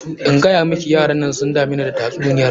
In gayamiki yaran nan sun dameni da tatsuniyar na.